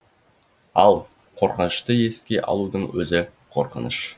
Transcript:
ал қорқынышты еске алудың өзі қорқыныш